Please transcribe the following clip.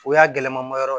O y'a gɛlɛma ma yɔrɔ ye